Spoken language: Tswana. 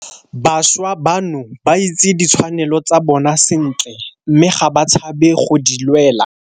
Bašwa bano ba itse ditshwanelo tsa bona sentle mme ga ba tshabe go di lwela.